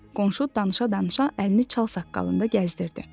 Qonşu danışa-danışa əlini çalsaqqalında gəzdirdi.